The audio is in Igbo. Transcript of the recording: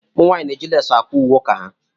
Ụmụ nwanyị na-eji leesi Akwa ùwé uka ha.